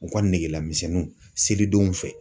U ka negelamisɛnninw selidenw fɛ.